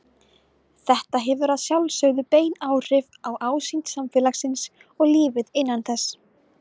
Þetta hefur að sjálfsögðu bein áhrif á ásýnd samfélagsins og lífið innan þess.